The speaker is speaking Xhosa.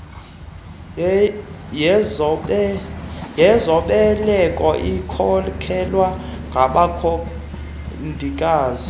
yezobeleko ikhokelwa ngabongikazi